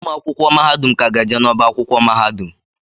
Ụmụ akwụkwọ ka ga-eje n'ọba akwụkwọ mahadum.